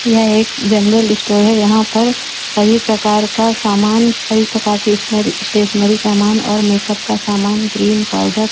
यह एक general store है यहां पर सभी प्रकार का सामान सभी प्रकार की स्नरी स्टेशनरी सामान और मेकअप का सामान क्रीम पावडर --